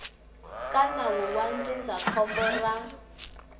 ka nawu wa ndzindzakhombo ra